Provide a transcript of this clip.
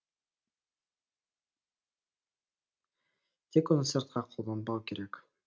тек оны сыртқа қолданбау керек